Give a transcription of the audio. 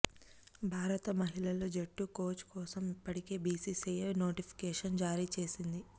భారత మహిళల జట్టు కోచ్ కోసం ఇప్పటికే బిసిసిఐ నోటిఫికేషన్ జారీ చేసింది